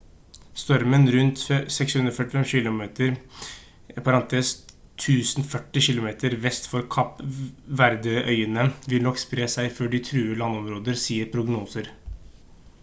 stormen rundt 645 kilometer 1040 kilometer vest for kapp verde-øyene vil nok spre seg før de truer landområder sier prognoser